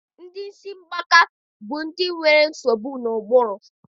Ndị isi mgbaka bụ ndị nwere nsogbu n'ụbụrụ.